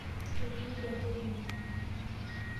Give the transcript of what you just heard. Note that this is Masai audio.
Etuude enkeju ino.